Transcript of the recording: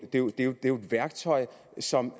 værktøj som